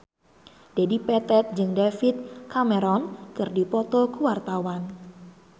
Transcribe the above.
Dedi Petet jeung David Cameron keur dipoto ku wartawan